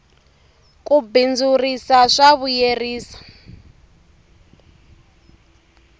ku bindzurisa swa vuyerisa